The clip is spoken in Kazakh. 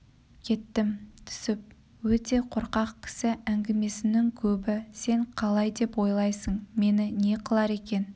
кеттім түсіп өте қорқақ кісі әңгімесінің көбі сен қалай деп ойлайсың мені не қылар екен